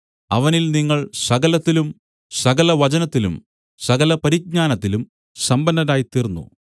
അവനിൽ നിങ്ങൾ സകലത്തിലും സകല വചനത്തിലും സകല പരിജ്ഞാനത്തിലും സമ്പന്നരായിത്തീർന്നു